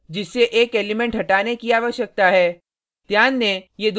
यह अरै है जिससे एक एलिमेंट हटाने की आवश्यकता है